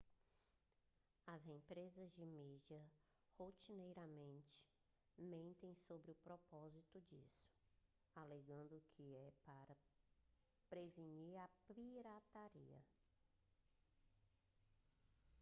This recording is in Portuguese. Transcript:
as empresas de mídia rotineiramente mentem sobre o propósito disso alegando que é para prevenir a pirataria